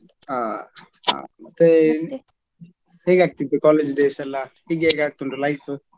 ಹಾ ಹಾ ಮತ್ತೆ ಹೇಗ್ ಆಗ್ತಿತ್ತು college days ಯೆಲ್ಲ ಈಗ ಹೇಗ್ ಆಗ್ತಾ ಉಂಟು life .